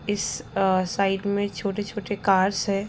इस आ साइड मे छोटे-छोटे कार्स है।